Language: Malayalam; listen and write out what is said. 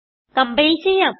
കംപൈൽ ചെയ്യാം